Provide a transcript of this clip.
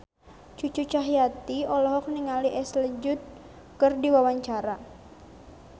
Cucu Cahyati olohok ningali Ashley Judd keur diwawancara